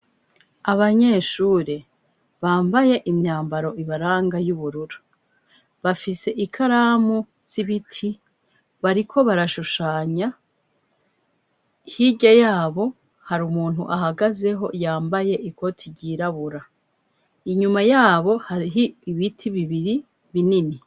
Abanyeshure bambaye imyambaro ibaranga y'uburura bafise ikaramu z'ibiti bariko barashushanya hirya yabo hari umuntu ahagazeho yambaye ikote ryirabura inyuma yabo harihi ibiti bibiri binini.